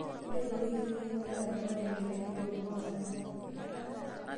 Ore too wikii uni, ntalama tenkitainoto oo mpuka sasin.